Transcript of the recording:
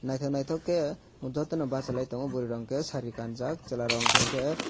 naitok naitok ke joto no basalai tongo boroi rok ke sari kanjak chela rok hingka ke.